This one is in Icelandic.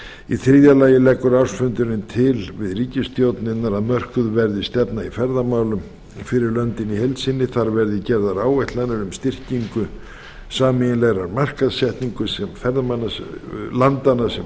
í þriðja lagi leggur ársfundurinn til við ríkisstjórnirnar að mörkuð verði stefna í ferðamálum fyrir löndin í heild sinni þar verði gerðar áætlanir um styrkingu sameiginlegrar markaðssetningar landanna sem